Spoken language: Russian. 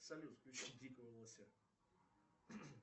салют включи дикого лося